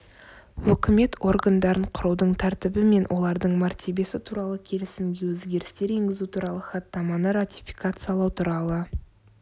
өкімет органдарын құрудың тәртібі мен олардың мәртебесі туралы келісімге өзгерістер енгізу туралы хаттаманы ратификациялау туралы